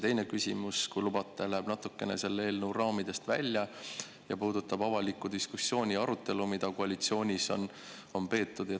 Teine küsimus, kui lubate, läheb natukene selle eelnõu raamidest välja ja puudutab avalikku diskussiooni ja arutelu, mida koalitsioonis on peetud.